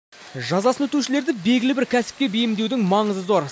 жазасын өтеушілерді белгілі бір кәсіпке бейімдеудің маңызы зор